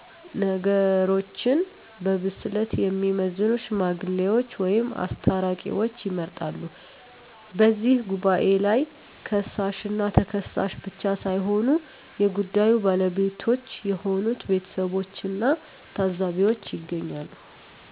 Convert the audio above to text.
ነገሮችን በብስለት የሚመዝኑ "ሽማግሌዎች" ወይም "አስታራቂዎች" ይመረጣሉ። በዚህ ጉባኤ ላይ ከሳሽና ተከሳሽ ብቻ ሳይሆኑ የጉዳዩ ባለቤቶች የሆኑት ቤተሰቦችና ታዘቢዎችም ይገኛሉ።